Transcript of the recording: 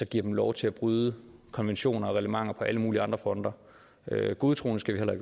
giver dem lov til at bryde konventioner og reglementer på alle mulige andre fronter godtroende skal